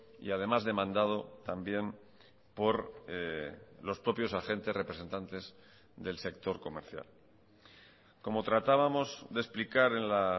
y además demandado también por los propios agentes representantes del sector comercial como tratábamos de explicar en la